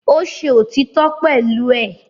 Ó ṣe òtítọ́ pẹ̀lú ẹ̀